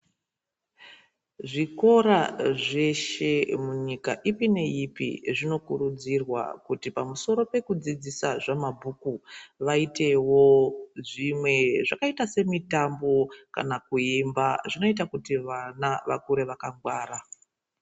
Zvikora zveshe munyika ipi neipi zvinokurudzirwa kuti pamusoro pekudzidzisa zvamabhuku, vaitewo zvimwe zvakaita semitambo kana kuemba. Zvinoita kuti vana vakure vakangwara.